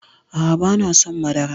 A'a banason madara